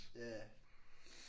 Ja ja